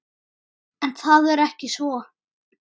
En það er ekki svo.